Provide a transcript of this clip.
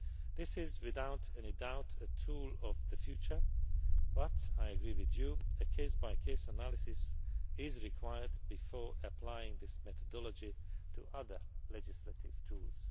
This is without any doubt a tool of the future, but I agree with you that a case by case analysis is required before applying this methodology to other legislative tools.